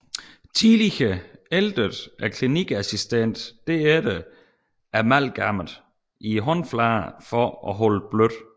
Tidligere æltede klinikassistenten derefter amalgamet i håndfladerne for at holde det blødt